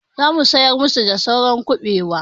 Za mu sayar masu da saura kuɓewa.